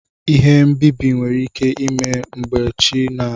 Ihe mbibi nwere ike ime mgbe chi na ewe iwe.